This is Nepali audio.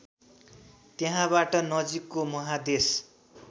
त्यहाँबाट नजिकको महादेश